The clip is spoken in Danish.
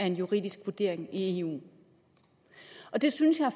en juridisk vurdering i eu det synes jeg